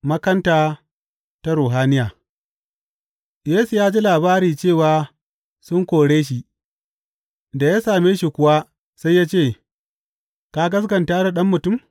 Makanta ta ruhaniya Yesu ya ji labari cewa sun kore shi, da ya same shi kuwa, sai ya ce, Ka gaskata da Ɗan Mutum?